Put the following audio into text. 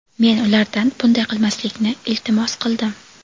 men ulardan bunday qilmaslikni iltimos qildim.